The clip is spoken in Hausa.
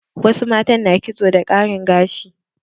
Wasu matan kitso da ƙarin gashi.